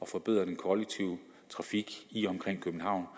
forbedre den kollektive trafik i og omkring københavn